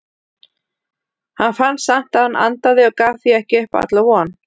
Hann fann samt að hann andaði og gaf því ekki upp alla von.